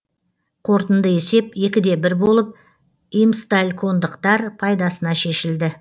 қорытынды есеп екі де бір болып имсталькондықтар пайдасына шешілді